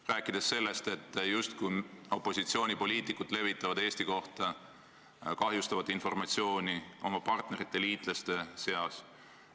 Ta rääkis sellest, et opositsioonipoliitikud justkui levitavad oma partnerite, liitlaste seas Eesti kohta meie riiki kahjustavat informatsiooni.